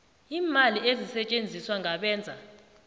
iimali ezisetjenziswa ngabenza